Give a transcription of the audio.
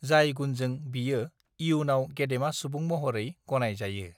जाय गुणजों बियो इयुनाव गेदेमा सुबुं महरै गनाय जायो